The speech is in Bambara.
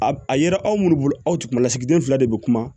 A a yera aw munnu bolo aw tigilasigiden fila de bɛ kuma